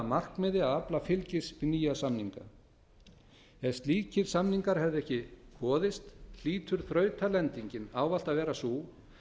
markmiði að afla fylgis við nýja samninga ef slíkir samningar hefðu ekki boðist hlýtur þrautalendingin ávallt að vera sú